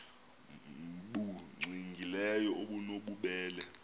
nbu cwengileyo obunobubele